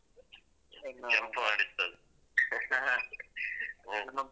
jump ಮಾಡಿಸ್ತದೆ